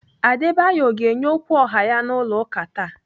Adebayo ọ ga-enye okwu ọha ya n'ụlọ ụka taa?